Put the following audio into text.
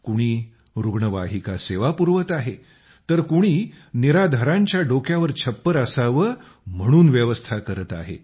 कुणी रुग्णवाहिका सेवा पुरवत आहे तर कुणी निराधारांच्या डोक्यावर छप्पर असावे म्हणून व्यवस्था करत आहे